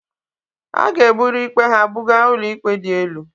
A ga-eburu ikpe ha buga ụlọikpe dị elu